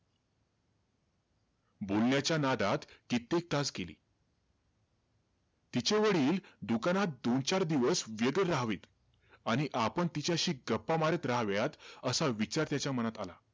बोलण्याच्या नादात कित्येक तास गेले. तिचे वडील दुकानात दोन-चार दिवस व्यग्र राहावे आणि आपण तिच्याशी गप्पा मारीत राहाव्यात, असा विचार तिच्या मनात आला.